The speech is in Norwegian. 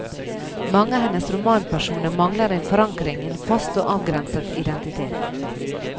Mange av hennes romanpersoner mangler en forankring i en fast og avgrenset identitet.